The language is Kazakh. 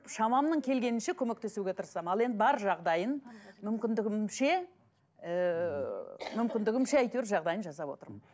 шамамның келгенінше көмектесуге тырысамын ал енді бар жағдайын мүмкіндігімше ыыы мүмкіндігімше әйтеуір жағдайын жасап отырмын